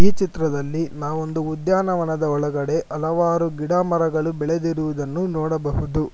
ಈ ಚಿತ್ರದಲ್ಲಿ ನಾವು ಒಂದು ಉದ್ಯಾನವನದ ಒಳಗಡೆ ಹಲವಾರು ಗಿಡ ಮರಗಳು ಬೆಳೆದಿರುವುದು ನೋಡಬಹುದು.